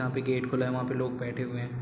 जहाँ पे गेट खुला है वहाँ पे लोग बैठे हुए हैं।